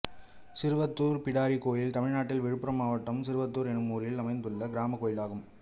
சிறுவத்தூர் பிடாரி கோயில் தமிழ்நாட்டில் விழுப்புரம் மாவட்டம் சிறுவத்தூர் என்னும் ஊரில் அமைந்துள்ள கிராமக் கோயிலாகும்